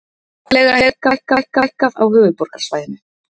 Húsaleiga hefur hækkað á höfuðborgarsvæðinu